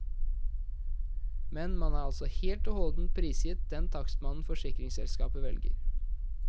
Men man er altså helt og holdent prisgitt den takstmannen forsikringsselskapet velger.